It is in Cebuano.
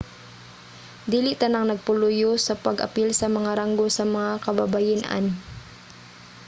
dili tanang nagpaluyo sa pag-apil sa mga ranggo sa mga kababayen-an